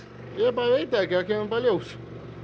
ég bara veit það ekki það kemur bara í ljós